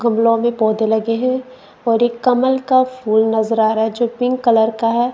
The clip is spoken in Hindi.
गमलो में पौधे लगे हैं और एक कमल का फूल नजर आ रहा है जो पिंक कलर का है।